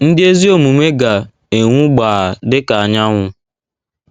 Ndị Ezi Omume Ga - enwu Gbaa Dị Ka Anyanwụ